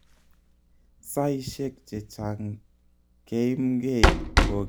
Saishek chechang keimgei ko kiit nebo kila eng sabet